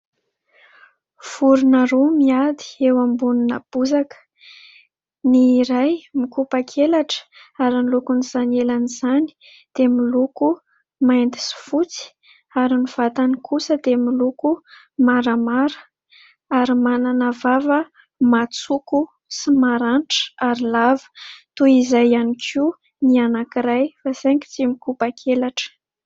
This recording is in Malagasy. Vorona roa miady eo ambonina bozaka. Ny iray mikopa-kelatra ary ny lokon'izany elan'izany dia miloko mainty sy fotsy. Ary ny vatany kosa dia miloko maramara ary manana vava matsoko sy maranitra ary lava. Toy izay ihany koa ny anankiray fa saingy tsy mikopa-kelatra.